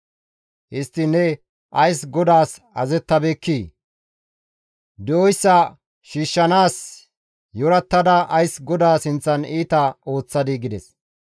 Histtiin ne ays GODAAS azazettabeekkii? Di7oyssa shiishshanaas yorattada ays GODAA sinththan iita ooththadii?» gides.